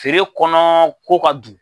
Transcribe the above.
Feere kɔnɔ ko ka dun.